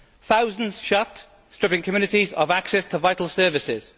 Thousands shut, stripping communities of access to vital services.